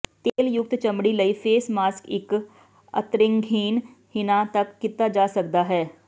ਤੇਲਯੁਕਤ ਚਮੜੀ ਲਈ face mask ਇੱਕ ਅਤੇਰੰਗਹੀਣ ਹਿਨਾ ਤੱਕ ਕੀਤਾ ਜਾ ਸਕਦਾ ਹੈ